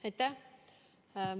Aitäh!